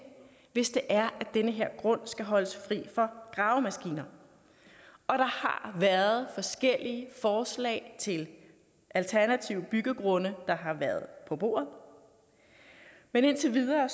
hvis det er at den her grund skal holdes fri for gravemaskiner og der har været forskellige forslag til alternative byggegrunde på bordet men indtil videre